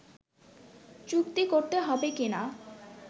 চুক্তি করতে হবে কিনা